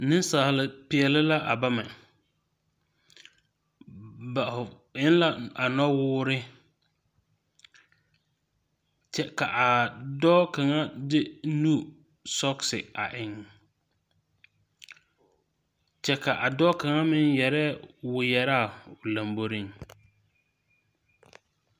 Ninsaalipɛɛle la a bame ba en la a nɔwoɔri kye ka a doɔ kanga de nusɔgsi a en kye ka a doɔ kanga meng yerɛɛ wiɛ araa ɔ lɔmboring.